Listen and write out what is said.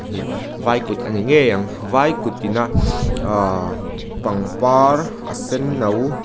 vai kut a ni ngei ang vai kut in a ah pangpar a senno--